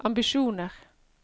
ambisjoner